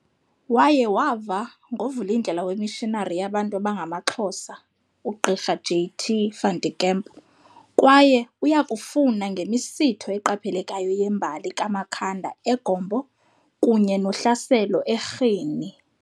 Waye wava ngovulindlela weMissionari yabantu abangamaXhosa, uGqirha "J.T. van der Kemp" kwaye uyakufuna ngemisitho eqaphelekayo yembali kaMakhanda e"Gompo" kunye nohlaselo e"Rhini".